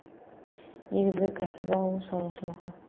негізгі кәсібі ауыл шаруашылығы